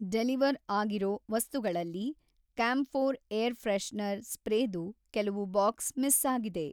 deliver ಆಗಿರೋ ವಸ್ತುಗಳಲ್ಲಿ camphor air freshener ಸ್ಪ್ರೇದು ಕೆಲವು ಬಾಕ್ಸ್ ಮಿಸ್ಸಾಗಿದೆ